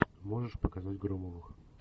можешь показать громовых